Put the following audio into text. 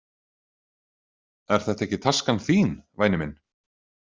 Er þetta ekki taskan þín, væni minn?